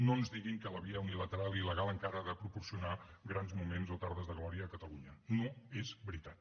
no ens diguin que la via unilateral il·legal encara ha de proporcionar grans moments o tardes de glòria a catalunya no és veritat